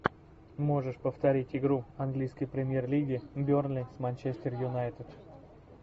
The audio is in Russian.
можешь повторить игру английской премьер лиги бернли с манчестер юнайтед